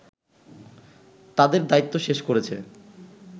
তাদেরদায়িত্ব শেষ করেছে